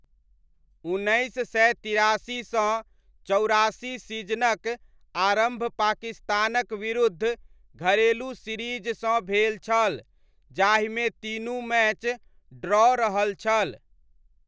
उन्नैस सय तिरासी सँ चौरासी सीजनक आरम्भ पाकिस्तानक विरूद्ध घरेलू सीरीजसँ भेल छल जाहिमे तीनू मैच ड्रॉ रहल छल।